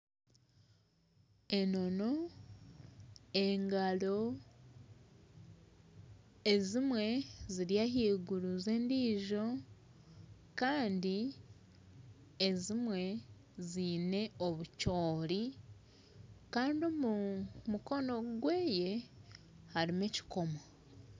Enono engaro ezimwe ziri ahaiguru zendiijo Kandi ezimwe ziine obucoori Kandi omu mukono gweye harimu ekikomo